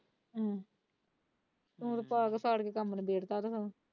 ਹੋਰ ਹੋਰ ਫਾੜ ਫਾੜ ਕੇ ਕੰਮ ਨਿਬੇੜਤਾ ਹੁਣ।